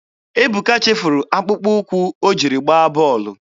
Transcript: Ebuka chefuru akpụkpọ ụkwụ o jiri gbaa bọọlụ.